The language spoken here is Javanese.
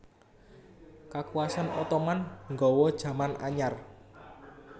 Kakuwasan Ottoman nggawa jaman anyar